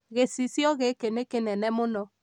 Gĩcicio gĩkĩ nĩ kĩnene mũno